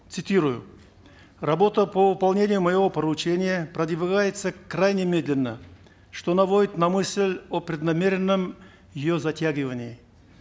цитирую работа по выполнению моего поручения продвигается крайне медленно что наводит на мысль о преднамеренном ее затягивании